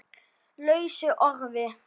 lausu orði